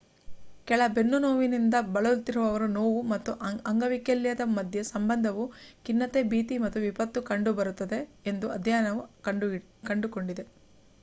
ಕೆಳ ಬೆನ್ನು ನೋವಿನಿಂದ ಬಳಲುತ್ತಿರುವವರಲ್ಲಿ ನೋವು ಮತ್ತು ಅಂಗವೈಕಲ್ಯದ ಮಧ್ಯೆ ಸಂಬಂಧವು ಖಿನ್ನತೆ ಭೀತಿ ಮತ್ತು ವಿಪತ್ತು ಕಂಡುಬರುತ್ತದೆ ಎಂದು ಅಧ್ಯಯನವು ಕಂಡುಕೊಂಡಿದೆ